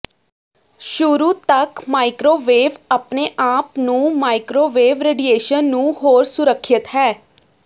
ਸ਼ੁਰੂ ਤੱਕ ਮਾਇਕ੍ਰੋਵੇਵ ਆਪਣੇ ਆਪ ਨੂੰ ਮਾਈਕ੍ਰੋਵੇਵ ਰੇਡੀਏਸ਼ਨ ਨੂੰ ਹੋਰ ਸੁਰੱਖਿਅਤ ਹੈ